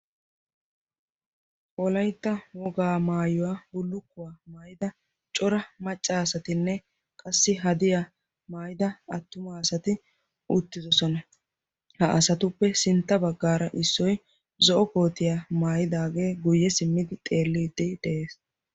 Wolaytta wogaa maayuwa bullukkuwaa maayyida cora maccasatinne qassi haddiya maayyida attumasati uttidoosona. ha asatupe sintta baggara issoy zo'o koottiyaa maayyidaagee sinttaw simmid xeellide de'ees.